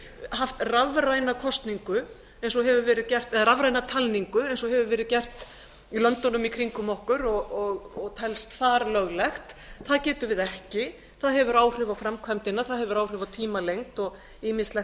haft rafræna kosningu eins og hefur verið gert rafræna talningu eins og hefur verið gert í löndunum í kringum okkur og telst þar löglegt það getum við ekki það hefur áhrif á framkvæmdina það hefur áhrif á tímalengd og ýmislegt